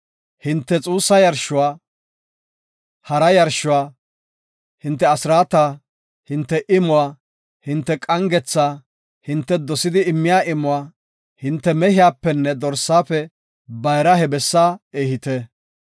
Hinte xuussa yarshuwa, hara yarshuwa, hinte asraata, hinte imuwa, hinte qangetha, hinte dosidi immiya imuwa, hinte mehiyapenne dorsaafe bayraa he bessaa ehite.